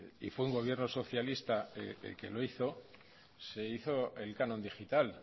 hizo un gobierno socialista el que lo hizo se hizo el canon digital